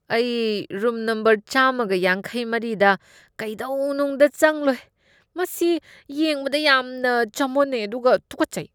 ꯑꯩ room number ꯆꯥꯝꯃꯒ ꯌꯥꯡꯈꯩꯃꯔꯤꯗ ꯀꯩꯗꯧꯅꯨꯡꯗ ꯆꯪꯂꯣꯏ, ꯃꯁꯤ ꯌꯦꯡꯕꯗ ꯌꯥꯝꯅ ꯆꯃꯣꯠꯅꯩ ꯑꯗꯨꯒ ꯇꯨꯀꯠꯆꯩ꯫